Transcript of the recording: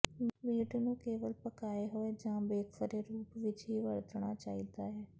meat ਨੂੰ ਕੇਵਲ ਪਕਾਏ ਹੋਏ ਜਾਂ ਬੇਕਫਰੇ ਰੂਪ ਵਿਚ ਹੀ ਵਰਤਣਾ ਚਾਹੀਦਾ ਹੈ